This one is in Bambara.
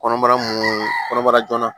Kɔnɔbara munu kɔnɔbara joona